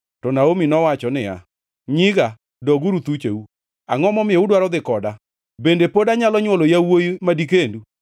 To Naomi nowacho niya, “Nyiga, doguru thucheu. Angʼo momiyo udwaro dhi koda? Bende pod anyalo nywolo yawuowi ma dikendu?